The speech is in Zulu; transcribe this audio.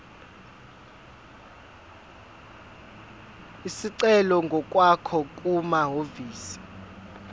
isicelo ngokwakho kumahhovisi